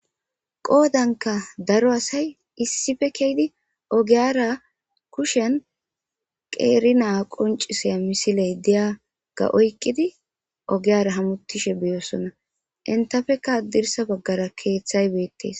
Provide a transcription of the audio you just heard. Qodanikka daro asayi issippe kehiddi ogiyara kushshenni qeri naa qonccissiya missileyi diyagga oyikkidi ogiyara hamutishshe bosona .initappekka hadirssa bagara keththayi betees.